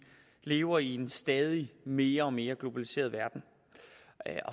lever i en stadig mere mere globaliseret verden